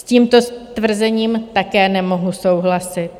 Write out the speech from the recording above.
S tímto tvrzením také nemohu souhlasit.